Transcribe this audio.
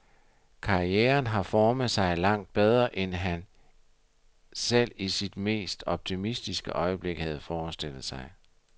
Karrieren har formet sig langt bedre, end han selv i sit mest optimistiske øjeblik havde forestillet sig.